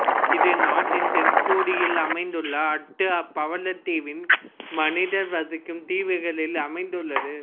இது நாட்டின் தென்கோடியில் அமைந்துள்ள அட்டு பவளத்தீவின் மனிதர் வசிக்கும் தீவுகளில் அமைந்துள்ளது